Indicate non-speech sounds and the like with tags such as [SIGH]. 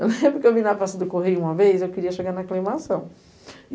Eu lembro que eu vim na Praça do Correio uma vez e eu queria chegar na. [UNINTELLIGIBLE]